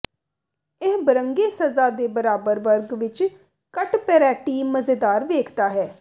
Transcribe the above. ਇਹ ਬਰੰਗੇ ਸਜ਼ਾ ਦੇ ਬਰਾਬਰ ਵਰਗ ਵਿੱਚ ਕੱਟ ਪਰੈਟੀ ਮਜ਼ੇਦਾਰ ਵੇਖਦਾ ਹੈ